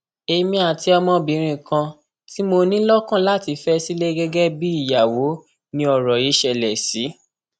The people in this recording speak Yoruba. èmi àti ọmọbìnrin kan tí mo ní lọkàn láti fẹ sílẹ gẹgẹ bíi ìyàwó ni ọrọ yìí ṣẹlẹ sí